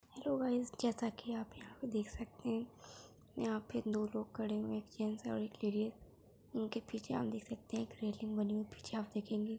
Hello guys जैसा की आप यहाँ पे देख सकते हैं यहाँ पे दो लोग खड़े हुए हैं एक जेन्स और एक लेडीस | उनके पीछे आप देख सकते हैं एक रेलिंग बनी हुई पीछे आप देखेंगे।